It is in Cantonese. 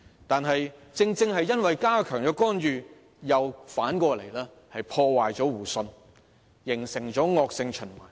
但是，正是因為加強干預，反而破壞了互信，形成惡性循環。